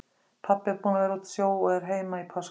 Pabbi er búinn að vera úti á sjó og er heima í páskafríi.